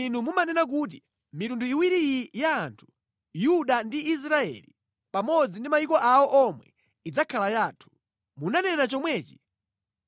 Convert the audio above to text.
“Inu munanena kuti, ‘Mitundu iwiri iyi ya anthu, Yuda ndi Israeli, pamodzi ndi mayiko awo omwe idzakhala yathu.’ Munanena chomwechi